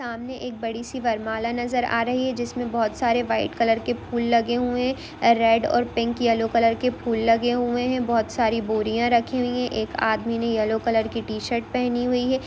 सामने एक बड़ी सी बरमला नज़र आ रही है जिसमें वहोत सारे वाइट कलर के फूल लगे हुए है रेड और पिक येल्लो कलर के फूल लगे हुए है वहोत सारी बोरिया रखी हुई है एक आदमी ने येल्लो कलर की टी-शर्ट पहनी हुई है।